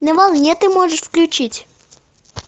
на волне ты можешь включить